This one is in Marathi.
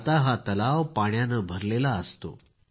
आता हा तलाव पाण्यानं भरलेला असतो